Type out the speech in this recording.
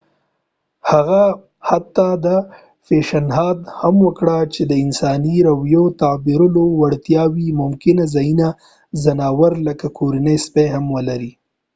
هغه حتی دا پیشنهاد هم وکړ چې د انساني رویيو تعبیرولو وړتیاوې ممکن ځینې ځناور لکه کورني سپي هم ولري